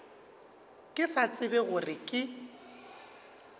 ke sa tsebe gore ke